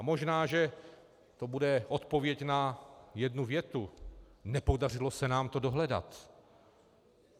A možná že to bude odpověď na jednu větu: nepodařilo se nám to dohledat.